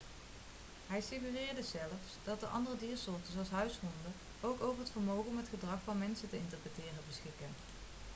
hij suggereerde zelfs dat andere diersoorten zoals huishonden ook over het vermogen om het gedrag van mensen te interpreteren beschikken